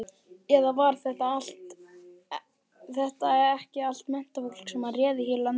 Eða var þetta ekki allt menntafólk sem réð hér löndum?